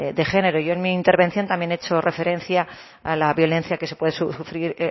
de género yo en mi intervención también he hecho referencia a la violencia que se puede sufrir